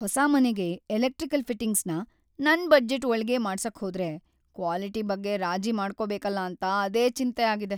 ಹೊಸ ಮನೆಗೆ ಎಲೆಕ್ಟ್ರಿಕಲ್ ಫಿಟ್ಟಿಂಗ್ಸ್‌ನ ನನ್ ಬಜೆಟ್‌ ಒಳ್ಗೇ ಮಾಡ್ಸಕ್ಹೋದ್ರೆ ಕ್ವಾಲಿಟಿ ಬಗ್ಗೆ ರಾಜಿ ಮಾಡ್ಕೋಬೇಕಲ ಅಂತ ಅದೇ ಚಿಂತೆ ಆಗಿದೆ.